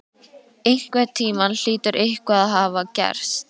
Einhvern tímann hlýtur eitthvað að hafa gerst.